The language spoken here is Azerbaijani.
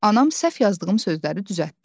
Anam səhv yazdığım sözləri düzəltdi.